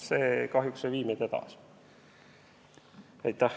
See kahjuks ei vii meid edasi.